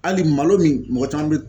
Hali malo min mɔgɔ caman bɛ